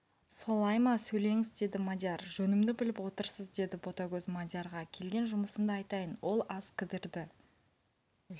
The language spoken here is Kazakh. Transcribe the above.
сол-ла-ай-ммма сөйлеңіз деді мадияр жөнімді біліп отырсыз деді ботагөз мадиярға келген жұмысымды айтайын ол аз кідірді